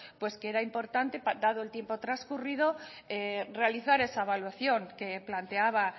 que era importante dado el tiempo transcurrido realizar esa evaluación que planteaba